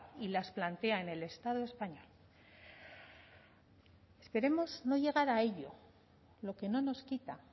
y las plantea en el estado español queremos no llegar a ello lo que no nos quita